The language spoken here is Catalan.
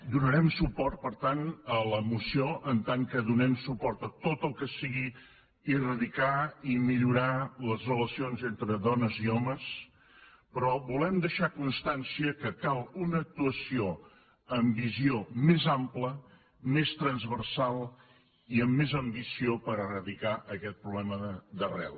donarem suport per tant a la moció en tant que donem suport a tot el que sigui eradicar i millorar les relacions entre dones i homes però volem deixar constància que cal una actuació amb visió més ampla més transversal i amb més ambició per eradicar aquest problema d’arrel